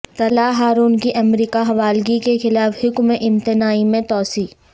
طلحہ ہارون کی امریکہ حوالگی کے خلاف حکم امتناعی میں توسیع